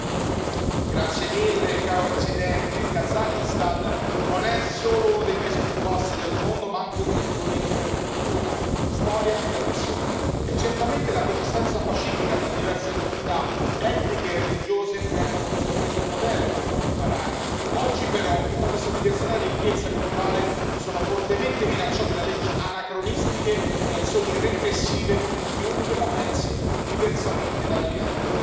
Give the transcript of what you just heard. Signor Presidente, onorevoli colleghi, il Kazakhstan non è solo uno dei paesi più vasti del mondo, ma anche uno dei più ricchi per cultura, storia e tradizioni. Certamente la coesistenza pacifica tra diverse comunità etniche e religiose rende questo paese un modello dal quale imparare. Oggi, però, tutta questa diversità e ricchezza culturale sono fortemente minacciate da leggi anacronistiche e azioni repressive contro chiunque la pensi diversamente dalla linea del governo.